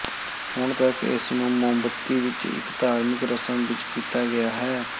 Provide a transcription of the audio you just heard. ਹੁਣ ਤੱਕ ਇਸ ਨੂੰ ਮੋਮਬੱਤੀ ਵਿੱਚ ਇੱਕ ਧਾਰਮਿਕ ਰਸਮ ਵਿਚ ਕੀਤਾ ਗਿਆ ਹੈ